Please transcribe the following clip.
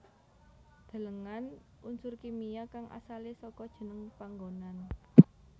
Delengen Unsur kimia kang asalé saka jeneng panggonan